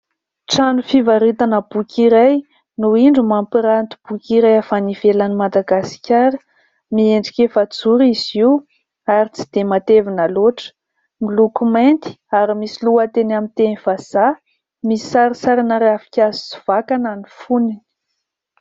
Trano fivaritana boky iray no indro mampiranty boky iray avy any ivelan'ny Madagasikara. Miendrika efa-joro izy io ary tsy de matevina loatra. Miloko mainty ary misy lohateny amin'ny teny vazaha. Misy sarisarina ravikazy sy vakana ny foniny.